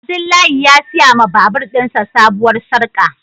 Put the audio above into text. Abdullahi ya siya ma babur din sa sabuwar sarka.